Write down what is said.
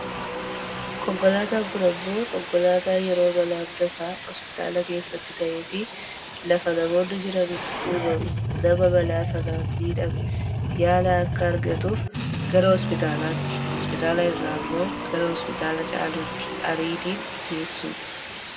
Konkolaataan kun ammoo konkolaataa yeroo balaan tasaa hospitaala keessatti ta'eefi lafa namoonni jiraatanitti uumame nama balaa sanaan miidhame, yaala akka argatuuf gara hospitaalatti, hospitaala irraa ammoo gara hospitaala caaluutti kan ariitiin geessudha.